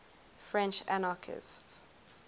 french anarchists